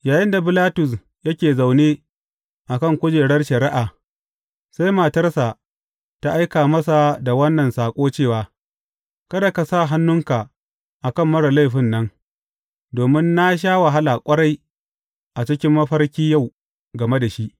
Yayinda Bilatus yake zaune a kan kujerar shari’a, sai matarsa ta aika masa da wannan saƙo cewa, Kada ka sa hannunka a kan marar laifin nan, domin na sha wahala ƙwarai, a cikin mafarki yau game da shi.